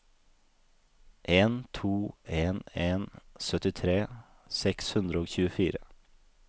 en to en en syttitre seks hundre og tjuefire